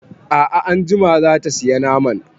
A'a anjima zata saya naman